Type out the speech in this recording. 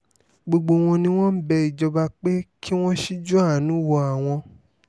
gbogbo wọn ni wọ́n ń bẹ ìjọba pé kí wọ́n ṣíjú-àánú wo àwọn